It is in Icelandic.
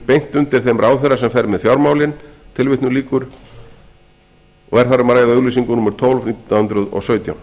beint undir þeim ráðherra sem fer með fjármálin og er þar um að ræða auglýsingu númer tólf nítján hundruð og sautján